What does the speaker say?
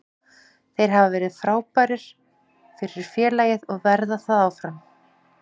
Þeir hafa verið frábærir fyrir félagið og verða það áfram.